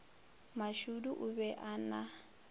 mashudu o be a na